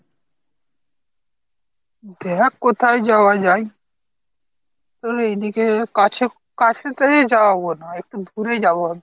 দেখ কোথায় যাওয়া যায়। আরে এদিকে কাছে কাছে তে যাওয়াব না, একটু দূরে যাব ভাবছি।